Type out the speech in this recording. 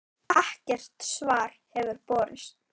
Ekkert svar hefur borist.